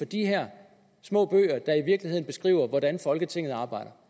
de her små bøger der i virkeligheden beskriver hvordan folketinget arbejder